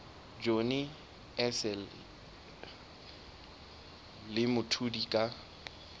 johnny issel le mthuli ka